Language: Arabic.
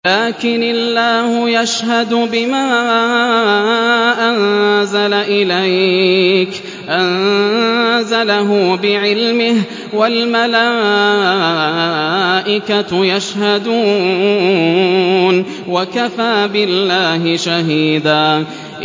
لَّٰكِنِ اللَّهُ يَشْهَدُ بِمَا أَنزَلَ إِلَيْكَ ۖ أَنزَلَهُ بِعِلْمِهِ ۖ وَالْمَلَائِكَةُ يَشْهَدُونَ ۚ وَكَفَىٰ بِاللَّهِ شَهِيدًا